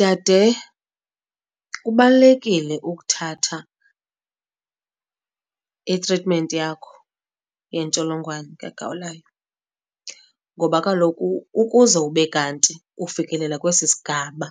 Dade, kubalulekile ukuthatha itritimenti yakho yentsholongwane kagawulayo, ngoba kaloku ukuze ube kanti ufikelela kwesi sigaba